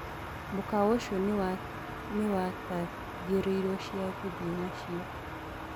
mũkawa ũcĩo niwitagioĩrĩo cĩa guthĩe nacio